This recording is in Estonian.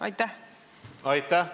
Aitäh!